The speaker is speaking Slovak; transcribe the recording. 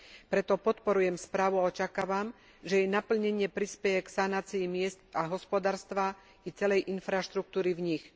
Preto podporujem správu a očakávam, že jej naplnenie prispeje k sanácii miest a hospodárstva i celej infraštruktúry v nich.